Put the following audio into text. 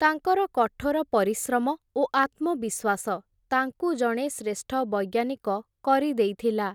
ତାଙ୍କର କଠୋର ପରିଶ୍ରମ ଓ ଆତ୍ମବିଶ୍ୱାସ ତାଙ୍କୁ ଜଣେ ଶ୍ରେଷ୍ଠ ବୈଜ୍ଞାନିକ କରିଦେଇଥିଲା ।